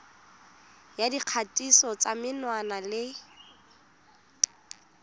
ya dikgatiso tsa menwana le